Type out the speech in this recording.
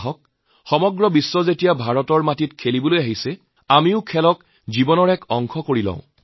আহক সমগ্ৰ বিশ্বই যেতিয়া ভাৰতৰ মাটিত খেলিবলৈ আহিছে আমিও এই খেলবিধক আমাৰ জীৱনৰ অংগ কৰি লওঁ